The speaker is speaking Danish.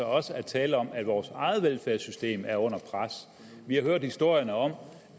også er tale om at vores eget velfærdssystem er under pres vi har hørt historierne om